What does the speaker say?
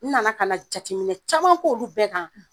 N nana kana jateminɛ caman k'olu bɛɛ kan